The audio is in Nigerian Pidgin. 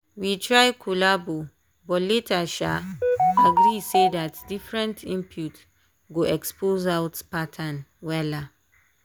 we try collabo but later um agree say dat different inpute go expose out pattern wella.